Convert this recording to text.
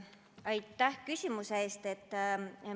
Aitäh küsimuse eest!